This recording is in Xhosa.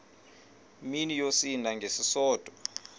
mini yosinda ngesisodwa